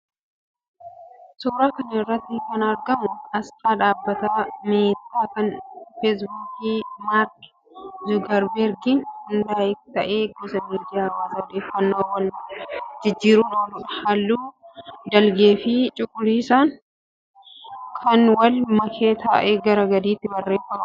Suuraa kana irratti kan argamu aasxaa dhaabbata 'meta' kan feesbuukii Maark Zuugarbargiin hundaa'e ta'ee gosa miidiyaa hawaasaa odeeffannoo wal jijjiiruuf ooluudha. Halluu dhiilgeefi cuquliisaan kan wal make ta'ee gara gadiitiin barreeffama 'messenger' jedhu qaba.